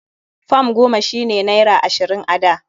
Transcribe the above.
Fam goma shi ne naira ashirin a da.